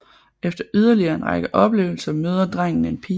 Efter yderligere en række oplevelser møder drengen en pige